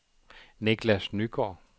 Nicklas Nygaard